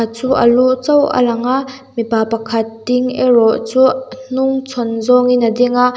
khat chu a lu chauh a lang a mipa pakhat ding erawh chu a hnungchhawn zawngin a ding a.